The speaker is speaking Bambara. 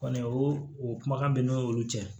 Kɔni o o kumakan bɛ n'olu cɛ